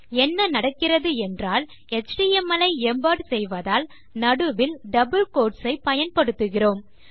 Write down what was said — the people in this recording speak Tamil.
என்ன நடக்கிறது என்றால் எச்டிஎம்எல் ஐ எம்பெட் செய்வதால் நடுவில் டபிள் கோட்ஸ் ஐ பயன்படுத்துகிறோம்